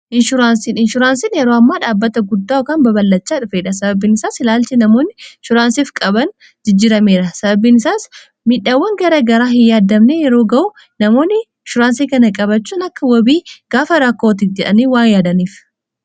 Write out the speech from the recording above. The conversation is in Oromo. inshuraansin yeroo ammaa dhaabbata guddaakan baballachaa dhufeedha sababbiin isaas ilaalchi namoonni shuraansiif qaban jijjirameera sababbiin isaas miidhaawwan gara garaa hin yaadamne yeroo ga'u namoonni inshuraansii kana qabachuun akka wobii gaafa raakoooti jedhanii waan yaadaniif